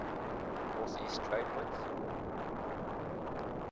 northeast trade winds